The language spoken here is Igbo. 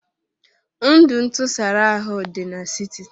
Ndụ ntụsara ahụ dị n'siti